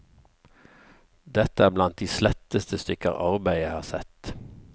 Dette er blant de sletteste stykker arbeid jeg har sett.